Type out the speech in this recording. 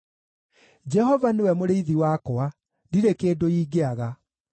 Jehova nĩwe mũrĩithi wakwa, ndirĩ kĩndũ ingĩaga.